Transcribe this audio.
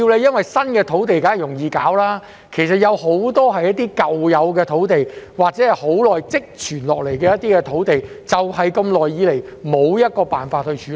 因為新批土地當然容易處理，但問題其實很多是在於那些舊有的土地，或積存已久的土地，長久以來也無法處理。